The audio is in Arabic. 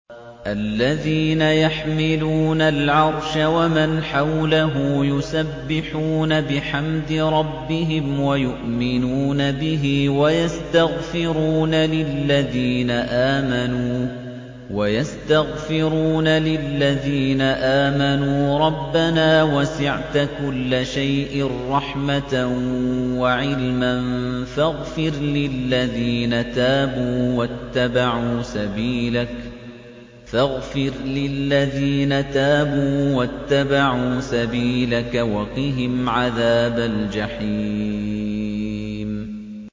الَّذِينَ يَحْمِلُونَ الْعَرْشَ وَمَنْ حَوْلَهُ يُسَبِّحُونَ بِحَمْدِ رَبِّهِمْ وَيُؤْمِنُونَ بِهِ وَيَسْتَغْفِرُونَ لِلَّذِينَ آمَنُوا رَبَّنَا وَسِعْتَ كُلَّ شَيْءٍ رَّحْمَةً وَعِلْمًا فَاغْفِرْ لِلَّذِينَ تَابُوا وَاتَّبَعُوا سَبِيلَكَ وَقِهِمْ عَذَابَ الْجَحِيمِ